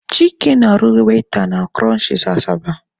Chike na-arụ waita na kụrọnchịs Asaba.